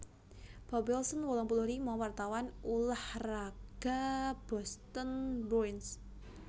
Bob Wilson wolung puluh lima wartawan ulah raga Boston Bruins